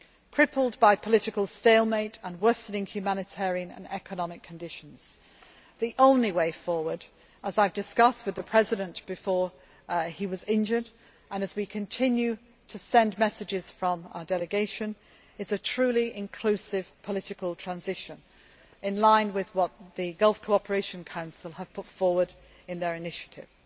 Yemen. Crippled by political stalemate and worsening humanitarian and economic conditions, the only way forward as I discussed with the President before he was injured, and as we continue to send messages from our delegation is a truly inclusive political transition, in line with what the Gulf Cooperation Council have put forward in their initiative.